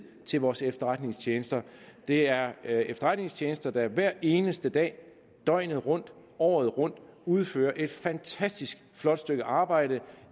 til vores efterretningstjenester det er efterretningstjenester der hver eneste dag døgnet rundt året rundt udfører et fantastisk flot stykke arbejde